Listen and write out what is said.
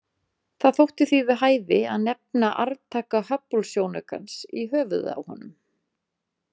Það þótti því við hæfi að nefna arftaka Hubblesjónaukans í höfuðið á honum.